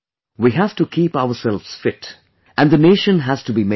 We have to keep ourselves fit and the nation has to be made fit